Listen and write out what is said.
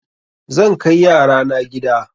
Zan kai yara na gida.